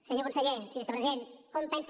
senyor conseller senyor vicepresident com pensa